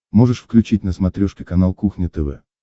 можешь включить на смотрешке канал кухня тв